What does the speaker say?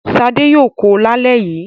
Ṣadé yóò kó lálẹ́ yìí.